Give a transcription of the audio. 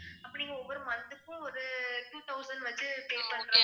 அப்படின்னு ஒவ்வொரு month க்கும் ஒரு two thousand வச்சு pay பண்றேன்